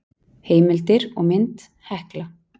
Heimildir og mynd Hekla.